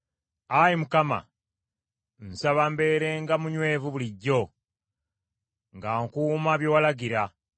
Ayi Mukama , nsaba mbeerenga munywevu bulijjo; nga nkuuma bye walagira.